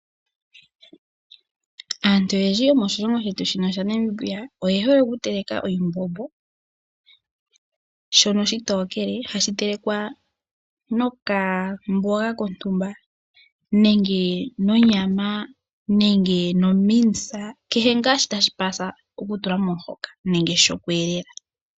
Aantu oyendji yomoshilongo shetu shino shaNamibia oyehole okuteleka oshimbombo shono oshitokele, hashi telekwa nokamboga kontumba nenge nonyama nenge nomince, kehe ngaa shi tashi opalele okutulwa momuhoka nenge shoku elela.